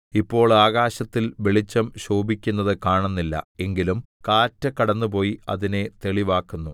ഇപ്പോൾ ആകാശത്തിൽ വെളിച്ചം ശോഭിക്കുന്നത് കാണുന്നില്ല എങ്കിലും കാറ്റ് കടന്നുപോയി അതിനെ തെളിവാക്കുന്നു